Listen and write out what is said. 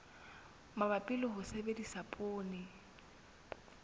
mabapi le ho sebedisa poone